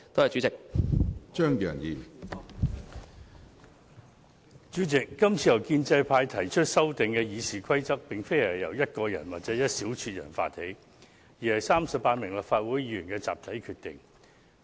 主席，這次建制派議員提出修訂《議事規則》之舉，並非由單獨一人或一小撮人發起，而是經由38名立法會議員作出的集體決定。